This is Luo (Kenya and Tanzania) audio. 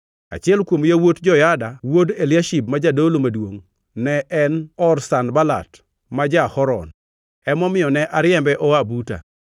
Achiel kuom yawuot Joyada wuod Eliashib ma jadolo maduongʼ ne en or Sanbalat ma ja-Horon. Emomiyo ne ariembe oa buta.